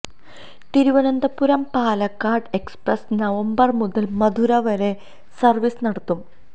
Thiruvananthapuram Palakkad express November മുതല് മധുര വരെ service നടത്തും